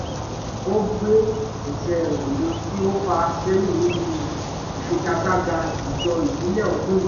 ọgbẹ́ ẹsẹ rẹ̀ mú kí ó fà sẹ́yìn níbi ìfigagbága ijó ìbílẹ̀ ọdún yìí